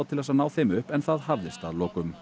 til þess að ná þeim upp en það hafðist að lokum